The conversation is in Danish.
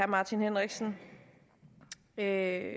martin henriksen at